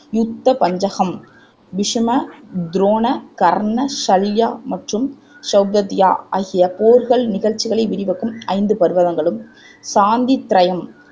யுத்த பஞ்சகம் பிசும, துரோண, கர்ண, சல்யா மற்றும் செளபத்தியா ஆகிய போர்கள் நிகழ்ச்சிகளை விவாக்கும் ஐந்து பர்வகங்களும் சாந்தி த்ரையம்